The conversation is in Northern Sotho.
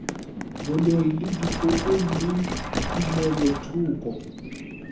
boloi le dipoko le tumelothoko